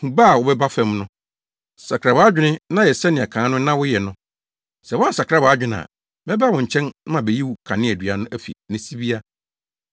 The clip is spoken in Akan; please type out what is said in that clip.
Hu ba a woaba fam no. Sakra wʼadwene na yɛ sɛnea kan no na woyɛ no. Sɛ woansakra wʼadwene a, mɛba wo nkyɛn na mabeyi wo kaneadua no afi ne sibea.